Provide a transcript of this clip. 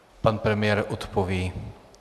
Pan premiér odpoví.